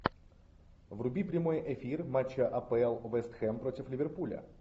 вруби прямой эфир матча апл вест хэм против ливерпуля